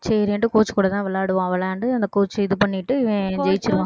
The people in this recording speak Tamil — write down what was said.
சரின்னுட்டு coach கூட தான் விளையாடுவான் விளையாண்டு அந்த coach அ இது பண்ணிட்டு இவன் ஜெயிச்சிருவான்